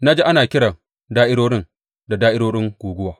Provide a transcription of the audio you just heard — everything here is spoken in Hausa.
Na ji ana kiran da’irorin da’irorin guguwa.